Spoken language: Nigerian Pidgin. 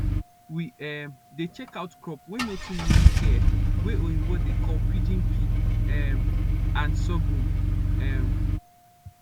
we um dey check out crop wey nor too need care wey oyibo dey call pigeon pea um and sorghum um